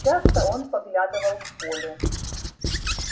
часто он поглядывал в поле